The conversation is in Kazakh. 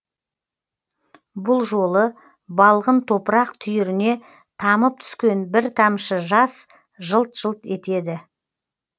бұл жолы балғын топырақ түйіріне тамып түскен бір тамшы жас жылт жылт етеді